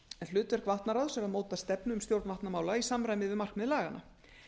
hlutverk vatnaráðs er að móta stefnu um stjórn vatnamála í samræmi við markmið laganna